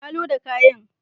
Na loda kayan.